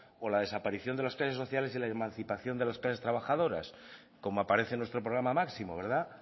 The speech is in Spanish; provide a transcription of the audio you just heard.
o la desaparición de los sociales y la emancipación de las clases trabajadoras como aparece en nuestro programa máximo verdad